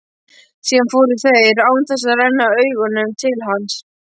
Síðan fóru þeir, án þess að renna augunum til hans.